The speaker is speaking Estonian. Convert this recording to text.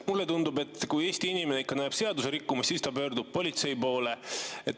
Mulle tundub, et kui Eesti inimene ikka näeb seadusrikkumist, siis ta pöördub politsei poole.